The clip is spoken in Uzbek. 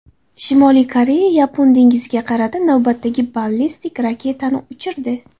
Shimoliy Koreya Yapon dengiziga qarata navbatdagi ballistik raketani uchirdi.